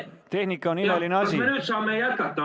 Tehnika on imeline asi, aga saame jätkata.